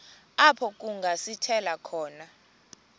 apho kungasithela khona